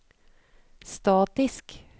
statisk